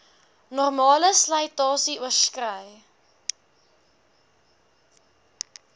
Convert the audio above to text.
normale slytasie oorskrei